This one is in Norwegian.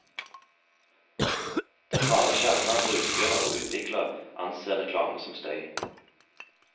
Den harde kjerne av brukere og utviklere anser reklame som støy.